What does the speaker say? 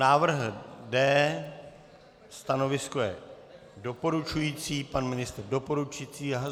Návrh D, stanovisko je doporučující, pan ministr doporučující.